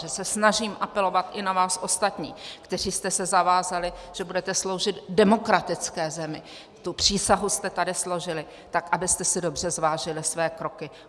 Že se snažím apelovat i na vás ostatní, kteří jste se zavázali, že budete sloužit demokratické zemi, tu přísahu jste tady složili, tak abyste si dobře zvážili své kroky.